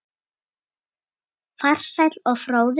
Farsæll og fróður.